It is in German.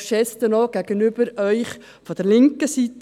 Dies auch als Geste gegenüber Ihnen von der linken Seite.